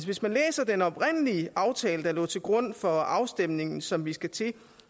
hvis man læser den oprindelige aftale der lå til grund for afstemningen som vi skal til